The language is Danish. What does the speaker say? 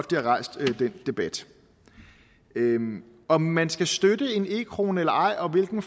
de har rejst den debat om man skal støtte en e krone eller ej og hvilken